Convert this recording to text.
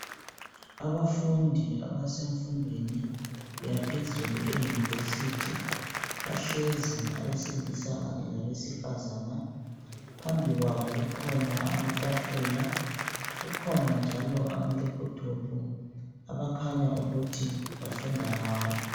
abafundi abasemfundweni yaphezulu e university bahlezi abesilisa kanye labesifazana phambi kwabo kukhona amatafula kukhona njalo ama laptop abakhanya ukuthi bafunda ngawo